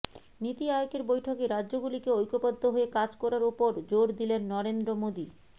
নীতি আয়োগের বৈঠকে রাজ্যগুলিকে ঐক্যবদ্ধ হয়ে কাজ করার ওপর জোর দিলেন নরেন্দ্র মোদী